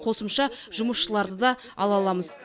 қосымша жұмысшыларды да ала аламыз